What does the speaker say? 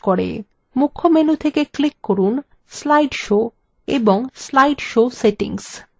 মুখ্য menu থেকে click from slide show এবং slide show সেটিংস